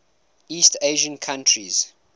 east asian countries